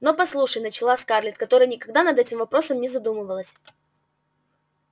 но послушай начала скарлетт которая никогда над этим вопросом не задумывалась